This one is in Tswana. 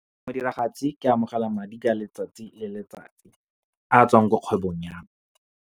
Modiragatsi ke amogela madi ka letsatsi le letsatsi, a tswang ko kgwebong ya me.